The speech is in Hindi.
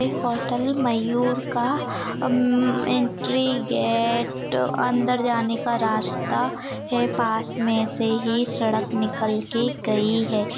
ये हॉटेल मयूर का अं एंट्री गेट अंदर जाने का रास्ता है पास मे से ही सड़क निकल के गई है।